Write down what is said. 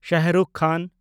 ᱥᱟᱦᱨᱩᱠᱷ ᱠᱷᱟᱱ